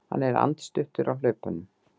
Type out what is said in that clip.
Hann er andstuttur á hlaupunum.